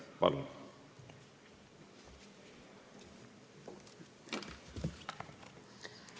Palun!